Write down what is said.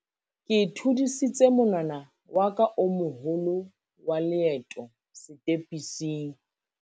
ke thudisitse monwana wa ka o moholo wa leeto setepising